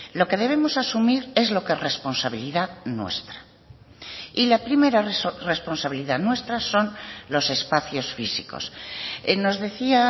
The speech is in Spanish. lo que debemos asumir es lo que es responsabilidad nuestra y la primera responsabilidad nuestra son los espacios físicos nos decía